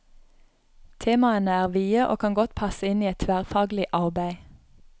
Temaene er vide og kan godt passe inn i et tverrfaglig arbeid.